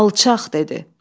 Alçaq dedi.